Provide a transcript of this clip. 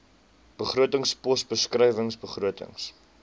begrotingspos beskrywing begrotings